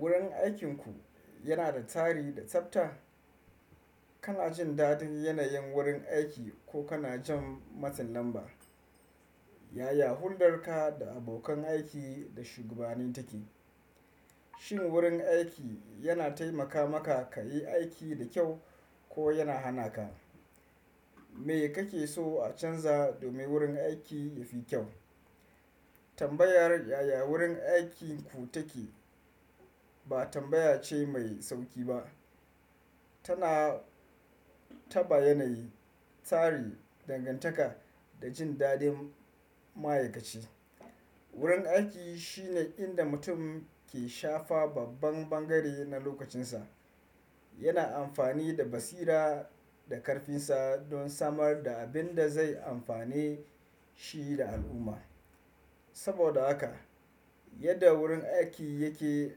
Wurin aikinku yana da tsari da tsafta? Kana jin daɗin yanayin wurin aiki ko kana jin matsin lamba? Yaya huldarka da abokan aiki da shugabanninka take? Shin wurin aiki yana taimaka maka ka yi aiki da kyau ko yana hana ka? Me kake so a canza domin wurin aiki yafi kyau? Tambayar yaya wurin aikinku take ba tambaya ce mai sauki ba. Tana taɓa yanayi, tsari, dangantaka da jin dadin ma'aikaci. Wurin aiki shine inda mutum ke shafa babban bangare na lokacinsa. Yana amfani da basira da karfinsa don samar da abin da zai amfane shi da al'umma. Saboda haka, yadda wurin aiki yake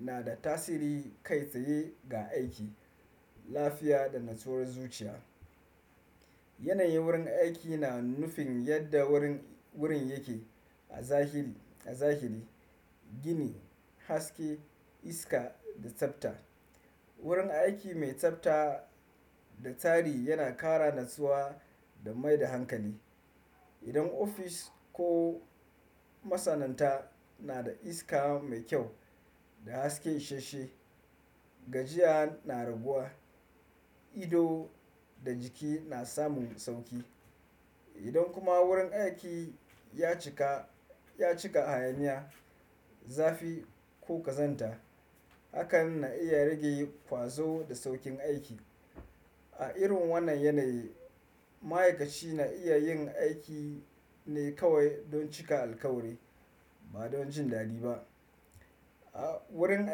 na da tasiri kai tsaye ga aiki, lafiya da nutsuwar zuciya. Yanayin wurin aiki na nufin yadda wurin, wurin yake a zahiri, a zahiri, gini, haske, iska da tsafta. Wurin aiki mai tsafta da tsari yana kara natsuwa da mai da hankali. Idan ofis ko masana'anta na da iska mai kyau da haske ishashshe, gajiya na raguwa, ido da jiki na samun sauki. Idan kuma wurin aiki ya cika, ya cika hayaniya, zafi ko ƙazanta, hakan na iya rage ƙwazo da saukin aiki. A irin wannan yanayi, ma'aikaci na iya yin aiki ne kawai don cika alkawari ba don jin daɗi ba. A wurin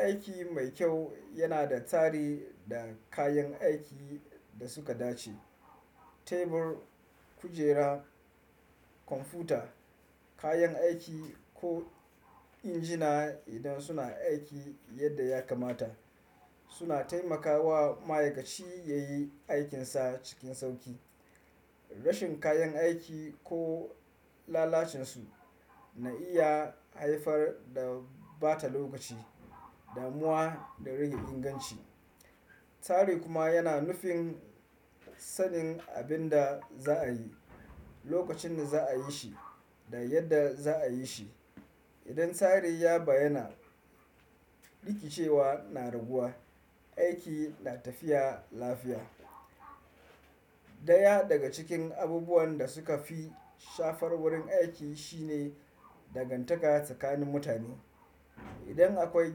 aiki mai kyau yana da tsari da kayan aiki da suka dace. Tebur, kujera, kwamfuta, kayan aiki ko injina idan suna aiki yadda ya kamata suna taimakawa ma'aikaci ya yi aikinsa cikin sauki. Rashin kayan aiki ko lalacinsu na iya haifar da ɓata lokaci, damuwa da rage inganci. Tari kuma yana nufin sanin abin da za a yi, lokacin da za a yi shi da yadda za a yi shi. Idan tsari ya bayyana, rikicewa na raguwa, aiki na tafiya lafiya. Daya daga cikin abubuwan da suka fi shafar wurin aiki shine dangantaka tsakanin mutane. Idan akwai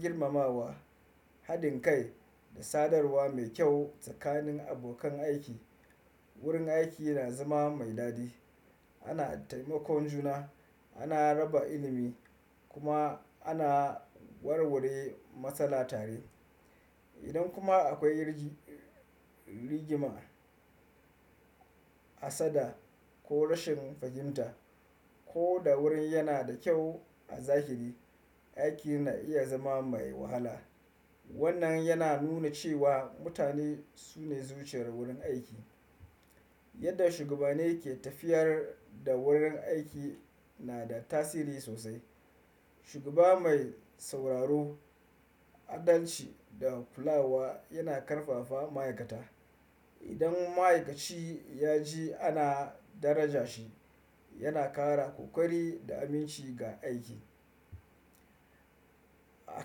girmamawa, haɗin kai da sadarwa mai kyau tsakanin abokan aiki, wurin aiki yana zama mai daɗi. Ana taimakon juna, ana raba ilimi kuma ana warware matsala tare. Idan kuma akwai irin rigima, hassada ko rashin fahimta, ko da wurin yana da kyau a zahiri, aiki na iya zama mai wahala. Wannan yana nuna cewa mutane su ne zuciyar wurin aiki. Yadda shugabanni ke tafiyar da wurin aiki na da tasiri sosai. Shugaba mai sauraro, adalci da kulawa yana ƙarfafa ma'aikata. Idan ma'aikaci ya ji ana daraja shi, yana kara ƙoƙari da aminci ga aiki. A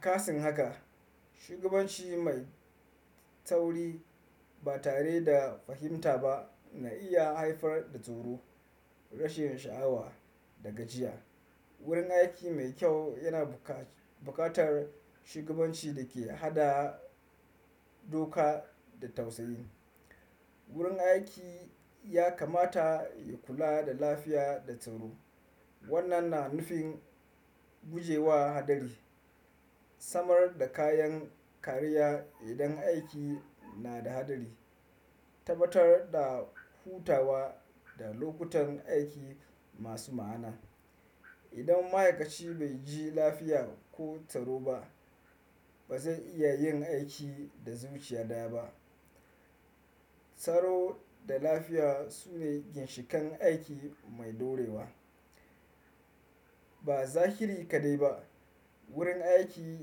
kasan haka, shugabanci mai tauri ba tare da fahimta ba na iya haifar da tsoro, rashin sha'awa da gajiya. Wurin aiki mai kyau yana buƙatar shugabanci da ke haɗa doka da tausayi. Wurin aiki ya kamata ya kula da lafiya da tsaro. Wannan na nufin gujewa haɗari, samar da kayan kariya idan aiki na da haɗari, tabbatar da hutawa da lokutan aiki masu ma'ana. Idan ma'aikaci bai ji lafiya ko tsaro ba, ba zai iya yin aiki da zuciya daya ba. Tsaro da lafiya su ne ginshiƙan aiki mai ɗorewa. Ba zahiri kaɗai ba, wurin aiki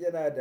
yana da.